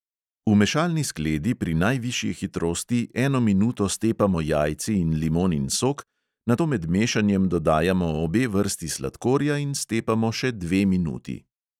V mešalni skledi pri najvišji hitrosti eno minuto stepamo jajci in limonin sok, nato med mešanjem dodajamo obe vrsti sladkorja in stepamo še dve minuti.